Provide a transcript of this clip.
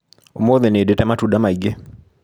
ũmũthĩ nĩndĩte matunda maingĩ.